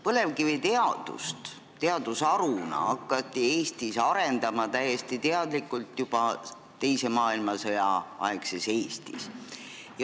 Põlevkiviteadust teadusharuna hakati Eestis täiesti teadlikult arendama juba teise maailmasõja aegses Eestis.